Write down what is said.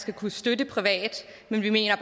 skal kunne støtte privat vi mener